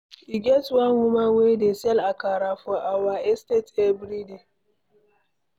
E get one woman wey dey sell akara for our estate every day.